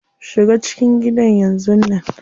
Shiga cikin gida yanzun nan.